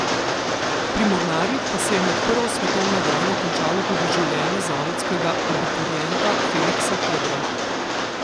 Pri mornarjih pa se je med prvo svetovno vojno končalo tudi življenje zavodskega abiturienta Feliksa Kodra.